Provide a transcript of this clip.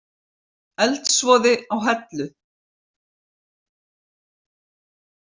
Eldsvoði á Hellu